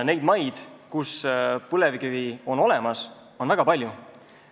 Neid maid, kus põlevkivi on, on väga palju.